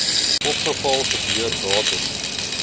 ongeval gebeur datum